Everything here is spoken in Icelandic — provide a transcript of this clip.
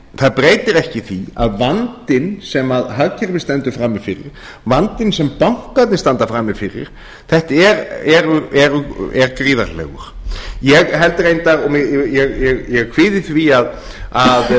það breytir ekki því að vandinn sem hagkerfið stendur frammi fyrir vandinn sem bankarnir standa frammi fyrir er gríðarlegur ég kvíði því að